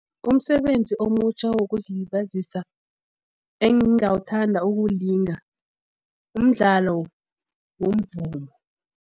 Umsebenzi omutjha wokuzilibazisa, engingawuthanda ukuwulinga, umdlalo womvumo.